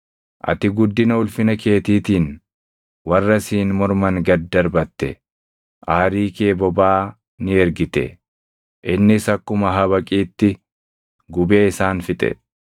“Ati guddina ulfina keetiitiin warra siin morman gad darbatte. Aarii kee bobaʼaa ni ergite; innis akkuma habaqiitti gubee isaan fixe.